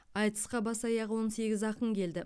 айтысқа бас аяғы он сегіз ақын келді